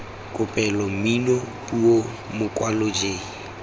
kopelo mmino puo mokwalo j